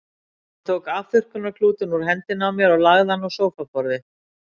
Hann tók afþurrkunarklútinn úr hendinni á mér og lagði hann á sófaborðið.